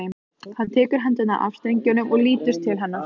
Hann tekur hendurnar af strengjunum og lítur til hennar.